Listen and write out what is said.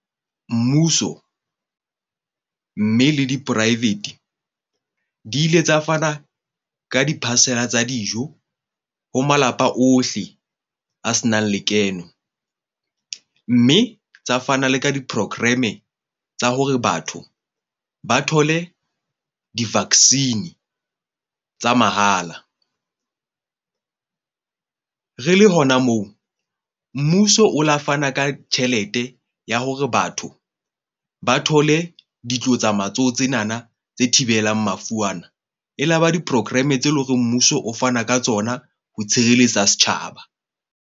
Mmuso mme le di-private di ile tsa fana ka di-parcel-a tsa dijo ho malapa ohle a se nang lekeno. Mme tsa fana le ka di-program-e tsa hore batho ba thole di-vaccine tsa mahala. Re le hona moo, mmuso o la fana ka tjhelete ya hore batho ba thole ditlotsa matsoho tsenana tse thibelang mafu ana. E laba di-program-e tse leng hore mmuso o fana ka tsona ho tshireletsa setjhaba.